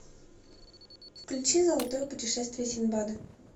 включи золотое путешествие синдбада